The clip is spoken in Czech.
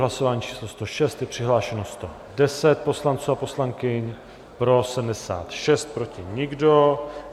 Hlasování číslo 106, je přihlášeno 110 poslanců a poslankyň, pro 76 , proti nikdo.